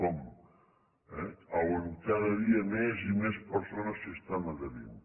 com on cada dia més i més persones s’estan adherint